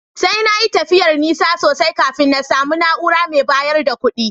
Sai na yi tafiyar nesa sosai kafin na samu na’ura mai bayar da kuɗi